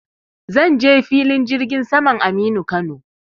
Zan je filin jirgin saman Aminu Kano.